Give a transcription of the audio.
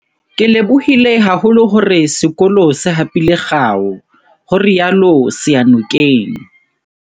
Ke lebohile haholo hore sekolo se hapile kgao, ho rialo Seyanokeng